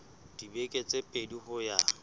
dibeke tse pedi ho ya